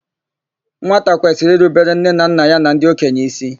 Nwata kwesịrị irubere nne na nna ya na ndị okenye ísí.